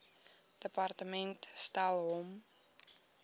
departement stel hom